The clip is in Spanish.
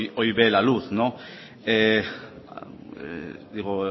hoy ve la luz digo